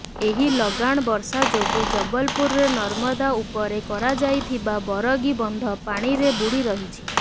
ଏହି ଲଗାଣ ବର୍ଷା ଯୋଗୁ ଜବଲପୁରରେ ନର୍ମଦା ଉପରେ କରାଯାଇଥିବା ବରଗୀ ବନ୍ଧ ପାଣିରେ ବୁଡି ରହିଛି